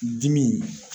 Dimi